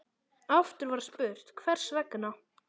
Aftur var spurt: Hvers vegna?